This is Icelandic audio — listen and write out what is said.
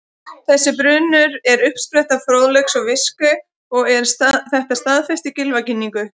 Þessi brunnur er uppspretta fróðleiks og visku og er þetta staðfest í Gylfaginningu: